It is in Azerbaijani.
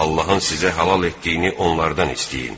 Allahın sizə halal etdiyini onlardan istəyin.